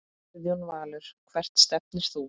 Guðjón Valur Hvert stefnir þú?